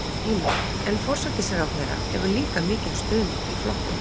Heimir: En forsætisráðherra hefur líka mikinn stuðning í flokknum?